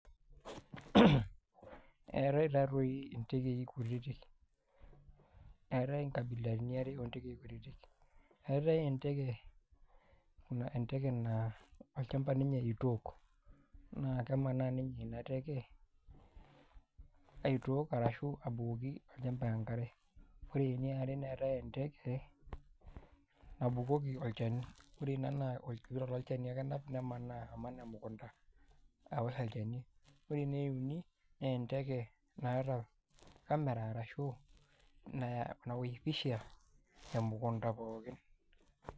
Etai taatoi ntekei kutitik, eetai nkabilaitin are oontekei kutitik eetai enteke naa olchamba ninye itook naa kemanaa ninye ina teke aitook arashu abukoki olchamba enkare, ore eniare neetai enteke nabukoki olchani ore ina naa olchani ake enap nemanaa aman emukunda aosh olchani ore ene uni naa enteke naata camera arashu nawosh pisha emukunda pookin.